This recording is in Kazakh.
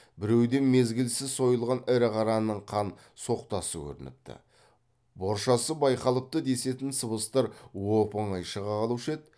біреуден мезгілсіз сойылған ірі қараның қан соқтасы көрініпті боршасы байқалыпты десетін сыбыстар оп оңай шыға қалушы еді